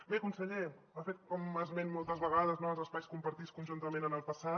bé conseller ha fet esment moltes vegades dels espais compartits conjuntament en el passat